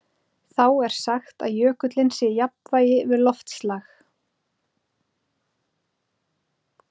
Þá er sagt að jökullinn sé í jafnvægi við loftslag.